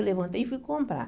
Eu levantei e fui comprar.